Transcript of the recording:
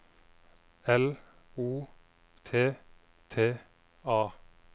L O T T A